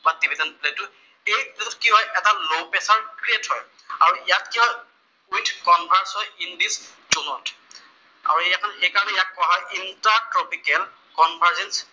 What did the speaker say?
Pamir division প্লেটটোত, এই এইটোত কি হয় এটা লʼ প্ৰেচাৰ ক্ৰিয়েট হয়। আৰু ইয়াত কি হয় উইথ কনভাৰ্চ হয় ইন দিচ জʼনত, আৰু সেইকাৰণে ইয়াক কোৱা হয় ইনট্ৰাট্ৰপিকেল কনভাৰেচ